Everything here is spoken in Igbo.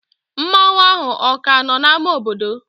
Mmanwu ahụ o ka no n'ámá obodo?